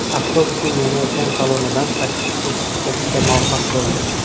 Avtobusning yonayotgan salonidan sakkiz kishi chiqib ketishga muvaffaq bo‘ldi.